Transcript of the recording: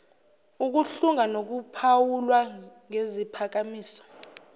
ukuhlunga nokuphawula ngeziphakamiso